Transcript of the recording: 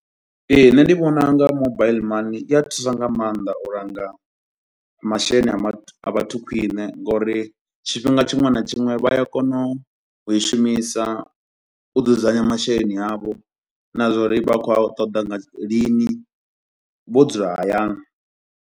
Ee nṋe ndi vhona unga mobile money i a thusa nga mannḓa u langa masheleni a vhathu a vhathu khwiṋe nga uri tshifhinga tshiṅwe na tshiṅwe vha a kono u i shumisa u dzudzanya masheleni avho na zwa uri vha khou a ṱoḓa nga lini vho dzula hayani.